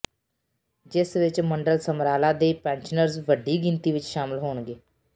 ਜਿਸ ਵਿੱਚ ਮੰਡਲ ਸਮਰਾਲਾ ਦੇ ਪੈਨਸ਼ਨਰਜ਼ ਵੱਡੀ ਗਿਣਤੀ ਵਿੱਚ ਸ਼ਾਮਿਲ ਹੋਣਗੇ